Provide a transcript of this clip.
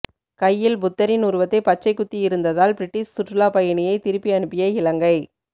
கையில் புத்தரின் உருவத்தை பச்சை குத்தியிருந்ததால் பிரிட்டிஷ் சுற்றுலாப்பயணியை திருப்பி அனுப்பிய இலங்கை